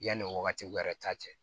Yanni wagati wɛrɛ ta cɛ